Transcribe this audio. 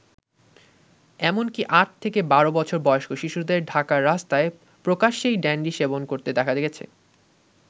এমনকী আট থেকে বারো বছর বয়স্ক শিশুদের ঢাকার রাস্তায় প্রকাশ্যেই ড্যান্ডি সেবন করতে দেখা গেছে।